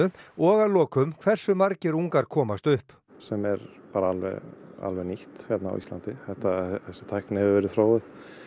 og að lokum hversu margir ungar komast upp sem er bara alveg nýtt hérna á Íslandi þessi tækni hefur verið þróuð